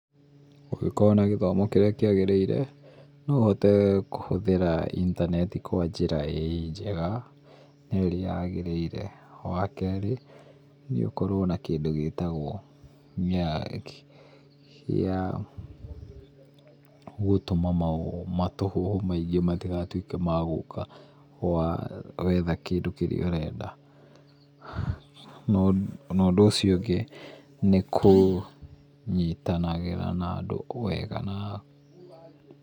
ũngĩkorwo na gĩthomo kĩrĩa kĩagĩrĩire, no ũhote kũhũthĩra intanenti kwa njĩra njega nerĩayagĩrĩire. Wakerĩ, nĩũkorwo na kĩndũ gĩtagwo nyagi, gĩa gũtũma maũndũ, maũhũhũ maingĩ matigatuĩke magũka wa, wetha kĩndũ kĩrĩa ũrenda. Na ũndũ ũcio ũngĩ nĩkũnyitanagĩra na andũ wega na.